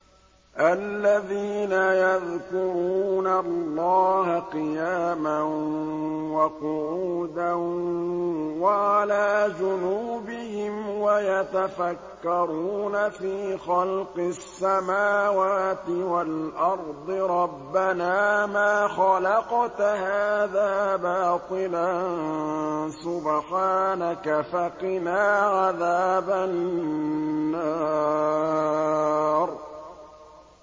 الَّذِينَ يَذْكُرُونَ اللَّهَ قِيَامًا وَقُعُودًا وَعَلَىٰ جُنُوبِهِمْ وَيَتَفَكَّرُونَ فِي خَلْقِ السَّمَاوَاتِ وَالْأَرْضِ رَبَّنَا مَا خَلَقْتَ هَٰذَا بَاطِلًا سُبْحَانَكَ فَقِنَا عَذَابَ النَّارِ